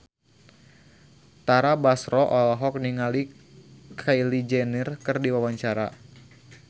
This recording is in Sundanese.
Tara Basro olohok ningali Kylie Jenner keur diwawancara